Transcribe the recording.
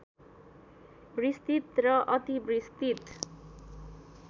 विस्तृत र अति विस्तृत